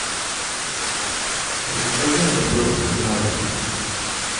закажи мне фрукты на дом